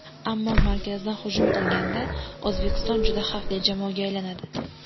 Ammo markazdan hujum qilganda O‘zbekiston juda xavfli jamoaga aylanadi.